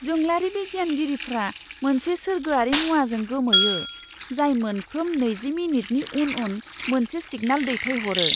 जोंलारि बिगियानगिरिफोरा मोनसे सोरगोआरि मुवाजों गोमोयो, जाय मोनफ्रोम नैजि मिनिटनि उन उन मोनसे सिगनेल दैथायहरो!